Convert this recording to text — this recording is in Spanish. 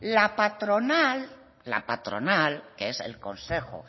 la patronal que es el consejo